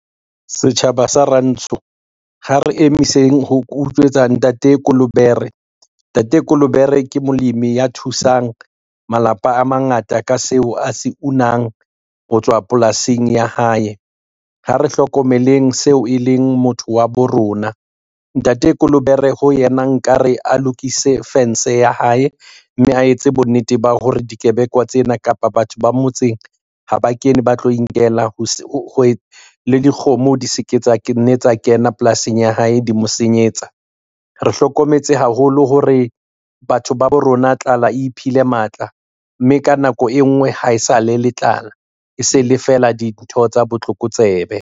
Setjhaba sa rantsho, ha re emiseng ho utswetsa ntate Kolobere. Ntate Kolobere ke molemi ya thusang malapa a mangata ka seo a se unang ho tswa polasing ya hae, ha re hlokomeleng seo e leng motho wa bo rona. Ntate Kolobere ho yena nka re a lokise fence ya had, mme a etse bonnete ba hore dikebekwa tsena kapa batho ba motseng ha ba kene ba tlo inkela ho le dikgomo di se ke tsa kena polasing ya hae di mo senyetsa. Re hlokometse haholo hore batho ba bo rona tlala iphile matla, mme ka nako e nngwe ha e sa le le tlala, e se le feela dintho tsa botlokotsebe.